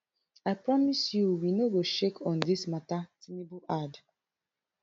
i promise you we no go shake on dis mata tinubu add